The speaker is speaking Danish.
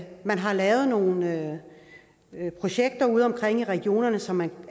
man har lavet nogle projekter udeomkring i regionerne som man